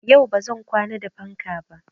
Yau ba zan kwana da fanka ba.